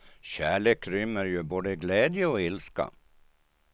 Kärlek rymmer ju både glädje och ilska.